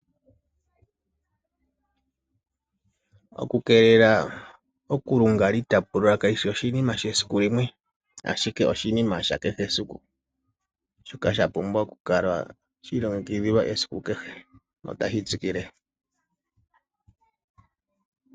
Okukeelela oku ilunga to itapula kashishi oshinima shesiku limwe ashike oshinima sha kehe esiku shoka shapumbwa okukala shi ilongekidhilwa esiku kehe notashi tsikile.